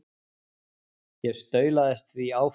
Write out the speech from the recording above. Ég staulaðist því áfram.